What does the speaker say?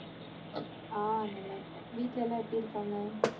ஆஹ் நல்லா இருக்கோம் வீட்லலா எப்படி இருக்காங்க?